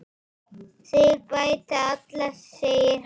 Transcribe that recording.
Þeir bæta alla, segir hann.